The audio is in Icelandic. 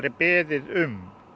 beðið um